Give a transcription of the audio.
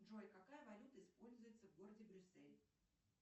джой какая валюта используется в городе брюссель